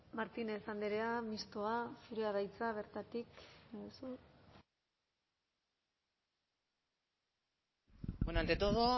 martínez andrea mistoa zurea da hitza bertatik bueno ante todo